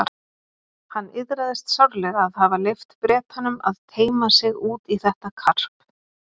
Hann iðraðist sárlega að hafa leyft Bretanum að teyma sig út í þetta karp.